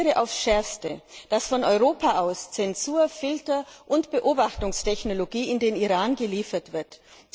Ich kritisiere aufs schärfste, dass von Europa aus Zensur Filter und Beobachtungstechnologien nach Iran geliefert werden.